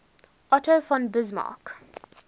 otto von bismarck